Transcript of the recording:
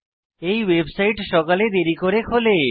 এই ওয়েবসাইট সকালে দেরী করে খোলে